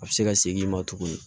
A bɛ se ka segin i ma tuguni